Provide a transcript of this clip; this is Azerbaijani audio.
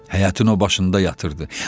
Həyətin o başında yatırdı.